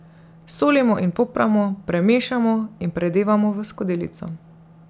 Solimo in popramo, premešamo in predevamo v skodelico.